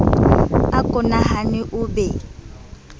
a ko nahane o be